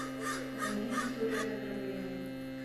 найди история с ограблением